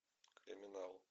криминал